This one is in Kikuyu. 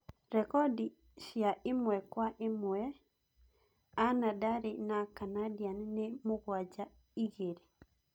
Rekondi cia ĩmwe kwa ĩmwe cia anadali na Canadian nĩ mũgwanja - igĩrĩ